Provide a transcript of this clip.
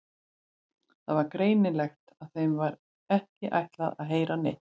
Það var greinilegt að þeim var ekki ætlað að heyra neitt.